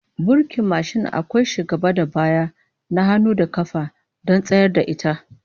Burkin mashin akwai shi gaba da baya, na hannu da kafa, don tsayar da ita